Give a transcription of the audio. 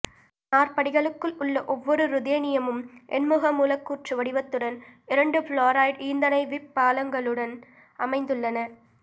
நாற்படிகளுக்குள் உள்ள ஒவ்வொரு ருத்தேனியமும் எண்முக மூலக்கூற்று வடிவத்துடன் இரண்டு புளோரைடு ஈந்தணைவிப் பாலங்களுடன் அமைந்துள்ளன